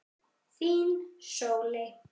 Þín, Sóley.